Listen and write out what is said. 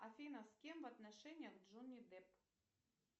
афина с кем в отношениях джонни депп